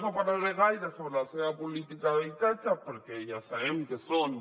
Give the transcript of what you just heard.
no parlaré gaire sobre la seva política d’habitatge perquè ja sabem que són